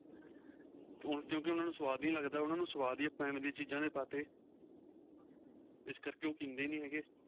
ਕਿਉਂਕਿ ਉਹਨਾ ਨੂੰ ਸੁਆਦ ਨਹੀਂ ਲੱਗਦਾ ਸੁਆਦ ਹੀ ਆਪਾਂ ਐਵੇ ਦੀਆਂ ਚੀਜਾਂ ਦੇ ਪਾਂ ਤੇ ਇਸ ਕਰਕੇ ਉਹ ਪੀਂਦੇ ਹੀ ਨਹੀਂ ਹੈਗੇ